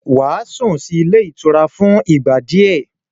Wàá sùn sí ilé ìtura fún ìgbà díẹ̀